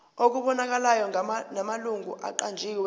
okubonakalayo namalungu aqanjiwe